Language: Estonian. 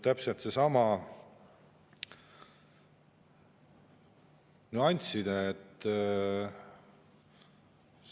Täpselt seesama nüansside.